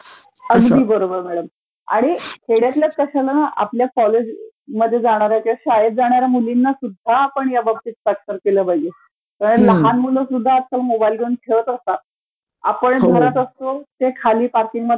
अगदी बरोबर... आणि खेड्यातल्याच कशाला ना ..आपल्या कॉलेजमध्ये जाणाऱ्या किंवा शाळेत जाणाऱ्या मुलींनासुध्दा आपण ह्याबाबतीत साक्षर केलं पाहिजे, कारण लहान मुलंसुध्दा आजकाल मोबाइलवरती खाली जाऊन खेळत असतात, आपण घरात असतो, ते खाली पार्कींगमध्ये